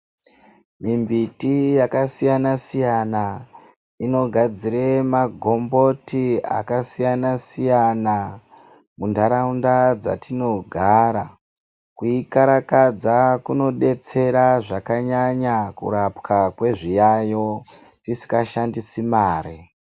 Mimbiti yakasiyana-siyana inogadzire magomboti akasiyana-siyana muntaraunda dzatinogara. Kuikarakadza kunodetsera zvakanyanya kurapwa kwezviyayo tisikashandisi mare.